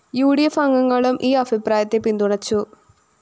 U D F അംഗങ്ങളും ഈ അഭിപ്രായത്തെ പിന്തുണച്ചു